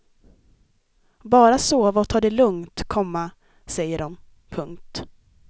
Bara sova och ta det lugnt, komma säger de. punkt